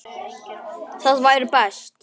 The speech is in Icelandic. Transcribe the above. Það væri best.